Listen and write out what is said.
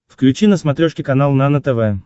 включи на смотрешке канал нано тв